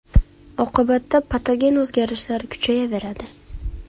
Oqibatda patogen o‘zgarishlar kuchayaveradi.